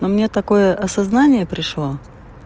а мне такое осознание пришло